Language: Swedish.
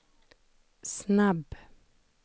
snabb